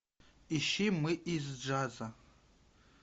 ищи мы из джаза